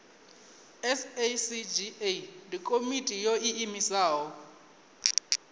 sacga ndi komiti yo iimisaho